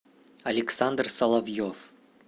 александр соловьев